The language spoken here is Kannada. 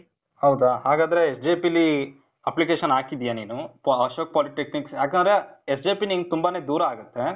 ಹೌದಾ? ಹಾಗಾದ್ರೆ SJP ಲೀ application ಹಾಕಿದ್ದೀಯ ನೀನು? Po, ಅಶೋಕ್ polytechnic, ಯಾಕಂದ್ರೆ SJP ನಿಂಗ್ ತುಂಬ ದೂರಾನೆ ಆಗತ್ತೆ.